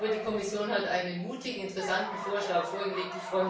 Die Kommission hat einen mutigen, interessanten Vorschlag vorgelegt.